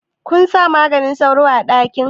Kunsa maganin sauro a ɗakin?